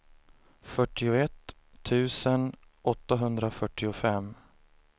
fyrtioett tusen åttahundrafyrtiofem